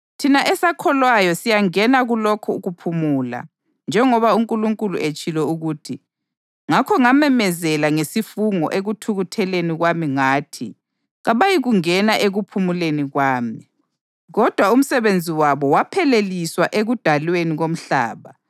Thina esakholwayo siyangena kulokho kuphumula njengoba uNkulunkulu etshilo ukuthi: “Ngakho ngamemezela ngesifungo ekuthukutheleni kwami ngathi, ‘Kabayikungena ekuphumuleni kwami.’ + 4.3 AmaHubo 95.11” Kodwa umsebenzi wakhe wapheleliswa ekudalweni komhlaba.